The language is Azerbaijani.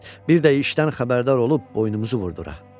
Bir də işdən xəbərdar olub boynumuzu vurdura.